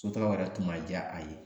Sotaga o yɛrɛ tun ma ja a ye